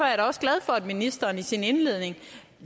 jeg da også glad for at ministeren i sin indledning